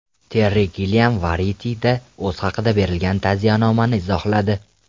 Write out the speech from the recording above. Terri Gilliam Variety’da o‘zi haqida berilgan ta’ziyanomani izohladi.